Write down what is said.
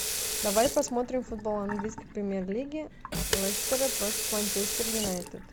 давай посмотрим футбол английской премьер лиги лестера против манчестер юнайтед